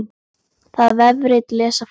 Það vefrit lesa fáir.